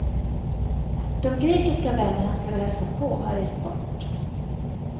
De grekiska vänner han skulle hälsa på har rest bort.